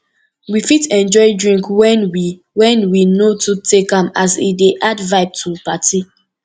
we fit enjoy drink when we when we no too take am as e dey add vibe to party